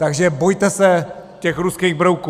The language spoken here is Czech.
Takže bojme se těch ruských brouků.